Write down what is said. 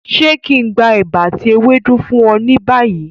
Ṣe kí n gbé ẹ̀bà ati ewédú fún ọ ni bayi?